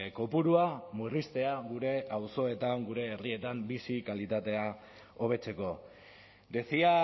kopurua murriztea gure auzoetan gure herrietan bizi kalitatea hobetzeko decía